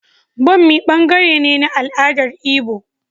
Bommi ɓangare ne na al'adar Igbo.